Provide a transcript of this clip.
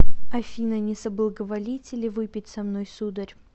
афина не соблаговолите ли выпить со мной сударь